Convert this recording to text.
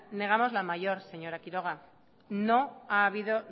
negamos la mayor señora quiroga no ha habido